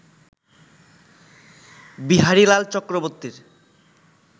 বিহারীলাল চক্রবর্তীর